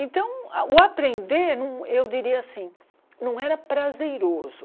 Então, o aprender, eu diria assim, não era prazeroso.